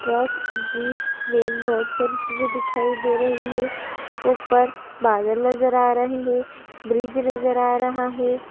truck jeep van बहोत सारी चीजें दिखाई दे रही हैं ऊपर बादल नजर आ रहे हैं ब्रिज नजर आ रहा है|